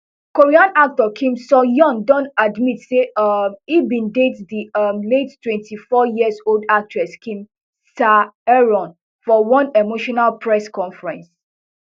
korean actor kim soohyun don admit say um e bin date di um late twenty-fouryearold actress kim saeron for one emotional press conference